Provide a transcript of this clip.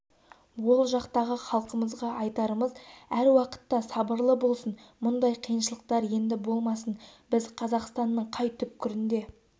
ол жақтағы халқымызға айтарымыз әр уақытта сабырлы болсын мұндай қиыншылықтар енді болмасын біз қазақстанның қай түкпірінде